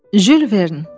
Jules Verne.